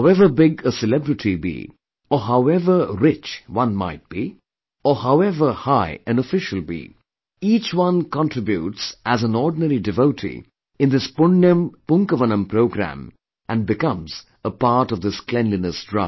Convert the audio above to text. However big a celebrity be, or however rich one might be or however high an official be each one contributes as an ordinary devotee in this Punyan Poonkavanam programme and becomes a part of this cleanliness drive